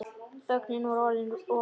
Þögnin var orðin of löng.